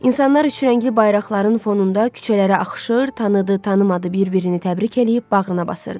İnsanlar üçrəngli bayraqların fonunda küçələrə axışır, tanıdı, tanımadı bir-birini təbrik eləyib bağrına basırdı.